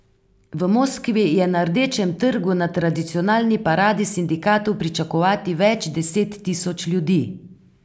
V Moskvi je na Rdečem trgu na tradicionalni paradi sindikatov pričakovati več deset tisoč ljudi.